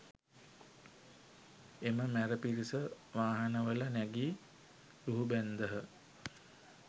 එම මැර පිරිස වාහනවල නැගී ලුහුබැන්දහ